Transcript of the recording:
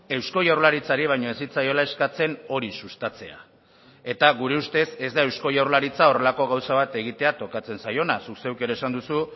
eusko jaurlaritzari baino ez zitzaiola eskatzen hori sustatzea eta gure ustez ez da eusko jaurlaritza horrelako gauza bat egitea tokatzen zaiona zuk zeuk ere esan duzu